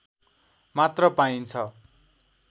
मात्र पाइन्छ